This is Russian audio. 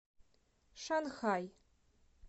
шанхай